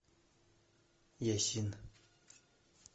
есин